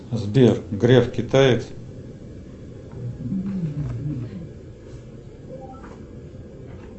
сбер греф китаец